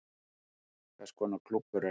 Hvers konar klúbbur er þetta